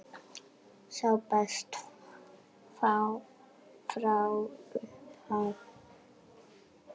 Sá besti frá upphafi?